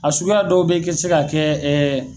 A suguya dɔw bɛ kɛ se ka kɛ